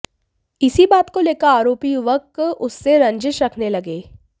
इसी बात को लेकर आरोपी युवक उससे रंजिश रखने लगे